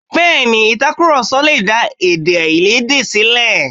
Bẹẹni, itakuroso lè dá èdèáiyedé ṣílẹ̀.